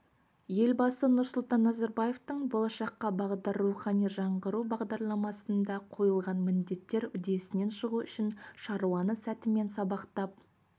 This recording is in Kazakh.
елбасы нұрсұлтан назарбаевтың болашаққа бағдар рухани жаңғыру бағдарламасында қойылған міндеттер үдесінен шығу үшін шаруаны сәтімен сабақтап